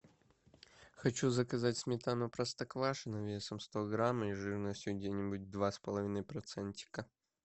хочу заказать сметану простоквашино весом сто грамм и жирностью где нибудь два с половиной процентика